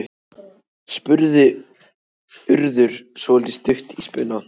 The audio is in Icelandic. spurði Urður svolítið stutt í spuna.